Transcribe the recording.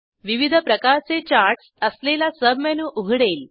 विविध प्रकारचे चार्टस असलेला सबमेनू उघडेल